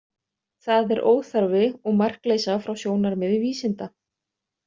Það er óþarfi, og markleysa frá sjónarmiði vísinda.